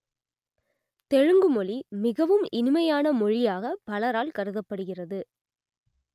தெலுங்கு மொழி மிகவும் இனிமையான மொழியாகப் பலரால் கருதப்படுகிறது